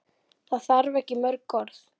Það þarf ekki mörg orð.